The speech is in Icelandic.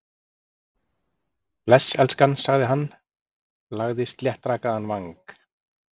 Bless, elskan sagði hann, lagði sléttrakaðan vang